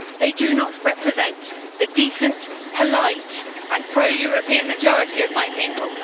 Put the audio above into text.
They do not represent the decent, polite and pro European majority of my people.